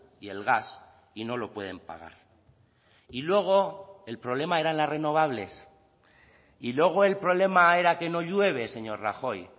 y el gas y no lo pueden pagar y luego el problema eran las renovables y luego el problema era que no llueve señor rajoy